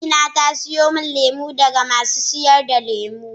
Amina ta siyo min lemu daga masu sayar da lemu.